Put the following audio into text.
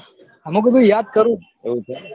મુ કીધું યાદ્દ કરું